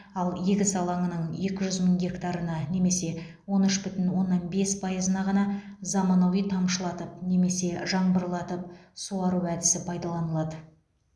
ал егіс алаңының екі жүз мың гектарына немесе он үш бүтін оннан бес пайызына ғана заманауи тамшылатып немесе жаңбырлатып суару әдісі пайдаланылады